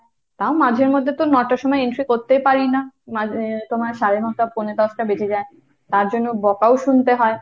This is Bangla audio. তা মাঝেমধ্যে তো ন'টার সময় entry করতেই পারি না। মানে তোমার সাড়ে ন'টা পৌনে দশটা বেজে যায়, তার জন্য বকাও শুনতে হয়।